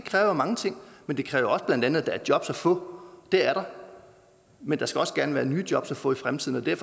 kræver mange ting men det kræver blandt andet der er jobs at få og det er der men der skal også gerne være nye jobs at få i fremtiden og det er